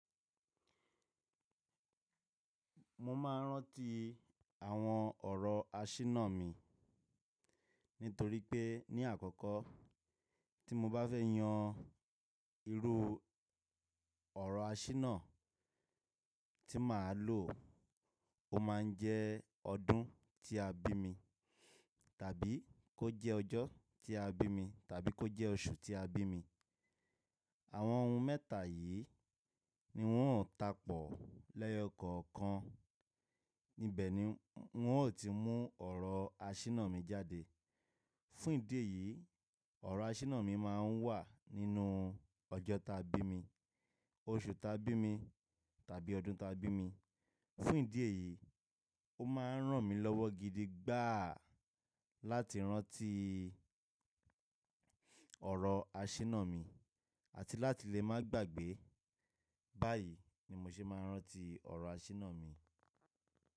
Mo máa ń rántí àwọn ọ̀rọ̀ àṣínà mi nítorí pé ní àkọ́kọ́ tí mo bá fẹ́ yan irú ọ̀rọ̀ àsínà tí màá lò, ó máa ń jẹ́ ọdún tí a bí mi tàbí kó jẹ́ ọjọ́ tí a bí mi tàbí kó jẹ́ oṣù tí a bí mi. Àwọn ohun mẹ́ta yìí ni wọ́n ò takọ lẹ́yọ́ kọ̀ọ̀kan. Níbẹ̀ ni wọ́n ò tíì mú ọ̀rọ̀ àṣinà mi jáde. Fún ìdí èyí, ọ̀rọ̀ àsínà mi máa ń wà nínú ọjọ́ tí a bí mi, oṣù tí a bí mi tàbí ọdún tí a bí mi. Fún ìdí èyí, ó máa ń ràn mí lọ́wọ́ gidi gbáà láti rántí ọ̀rọ̀ àsínà mi àti láti lè má gbàgbé. Báyìí ni mo ṣe máa ń rántí ọ̀rọ̀ àsínà mi.